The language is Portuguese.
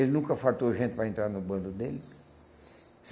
Ele nunca faltou gente para entrar no bando dele.